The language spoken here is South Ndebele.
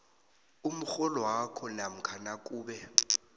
umrholwakho namkha nakube